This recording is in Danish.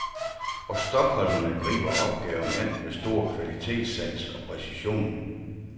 Og stockholmerne griber opgaven an med stor kvalitetssans og præcision.